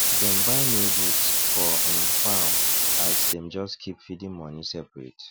dem buy new boots for um farm as dem just keep feeding money separate